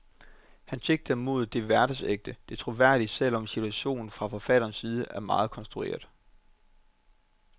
Han sigter mod det hverdagsægte, det troværdige, selv om situationen fra forfatterens side er meget konstrueret.